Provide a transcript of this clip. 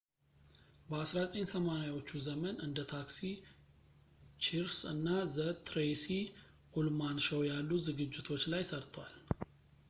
በ1980ዎቹ ዘመን እንደ ታክሲ ቺርስ እና ዘ ትሬይሲ ኡልማን ሾው ያሉ ዝግጅቶች ላይ ሠርቷል